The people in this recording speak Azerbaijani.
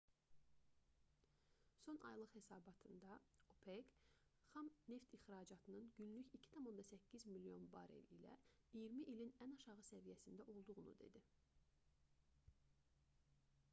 son aylıq hesabatında opec xam neft ixracatının günlük 2,8 milyon barel ilə iyirmi ilin ən aşağı səviyyəsində olduğunu dedi